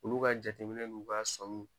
Olu ka jateminɛ nunnu b'a sɔmi.